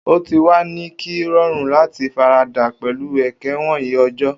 O ti wa ni ki rorun lati farada pẹlu eke wọnyi ọjọ